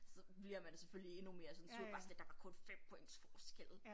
Så bliver man selvfølgelig endnu mere sådan sur bare sådan lidt der var kun 5 points forskel